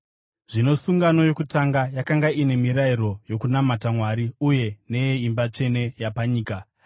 Zvino sungano yokutanga yakanga ine mirayiro yokunamata Mwari uye neyeimba tsvene yapanyika.